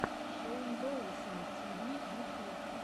шейн доусон ти ви ютюб